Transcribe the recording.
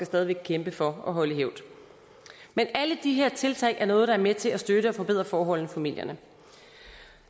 stadig væk kæmpe for at holde i hævd men alle de her tiltag er noget der er med til at styrke og forbedre forholdene i familierne